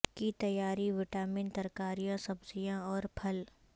کی تیاری وٹامن ترکاریاں سبزیاں اور پھل